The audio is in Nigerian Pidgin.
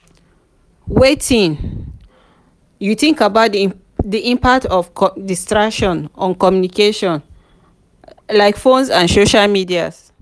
wetin you think about di impact of distractions on communication like phones and social media?